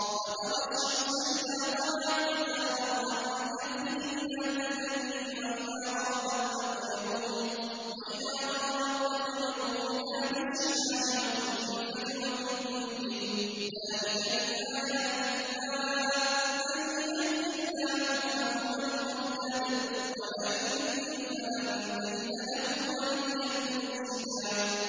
۞ وَتَرَى الشَّمْسَ إِذَا طَلَعَت تَّزَاوَرُ عَن كَهْفِهِمْ ذَاتَ الْيَمِينِ وَإِذَا غَرَبَت تَّقْرِضُهُمْ ذَاتَ الشِّمَالِ وَهُمْ فِي فَجْوَةٍ مِّنْهُ ۚ ذَٰلِكَ مِنْ آيَاتِ اللَّهِ ۗ مَن يَهْدِ اللَّهُ فَهُوَ الْمُهْتَدِ ۖ وَمَن يُضْلِلْ فَلَن تَجِدَ لَهُ وَلِيًّا مُّرْشِدًا